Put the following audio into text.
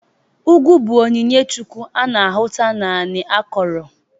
Ugwu bụ otu onyinye chukwu a na-ahụta n'ala akọrọ.